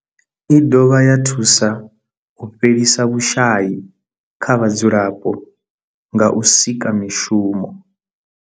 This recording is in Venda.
I dovha ya thusa u fhelisa vhushayi kha vhadzulapo nga u sika mishumo.